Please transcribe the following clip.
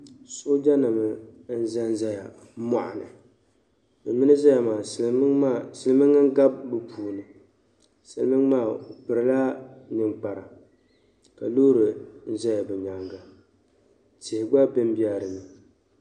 paɣa n kuli laɣim bihi ʒili kaa niŋ bibdira ŋɔ n yɛm luɣili kam bipuɣinsi mini bi dibi bihi nvkuli be dini ka bɛ kuli nyɛla bɛ bela dibu ni ka kuli be lari puuni bindirigu maa nyɛla shinkaafa din nyɛ zaɣi piɛli